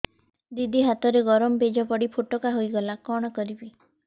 ଦିଦି ହାତରେ ଗରମ ପେଜ ପଡି ଫୋଟକା ହୋଇଗଲା କଣ କରିବି